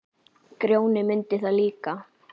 Grjóni mundi það líka.